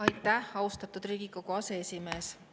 Aitäh, austatud Riigikogu aseesimees!